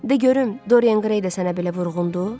De görüm, Dorian Grey də sənə belə vurğundur?